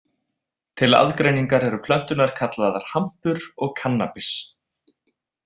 Til aðgreiningar eru plönturnar kallaðar hampur og kannabis.